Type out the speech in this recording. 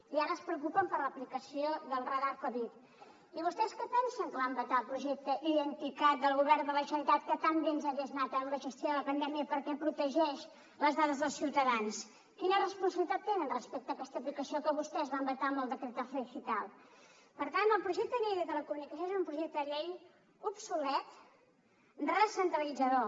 i ara es preocupen per l’aplicació del radar covid i vostès què pensen que van vetar el projecte identicat del govern de la generalitat que tan bé ens hagués anat en la gestió de la pandèmia perquè protegeix les dades dels ciutadans quina responsabilitat tenen respecte a aquesta aplicació que vostès van vetar amb el decretazo digital per tant el projecte de llei de telecomunicacions és un projecte de llei obsolet recentralitzador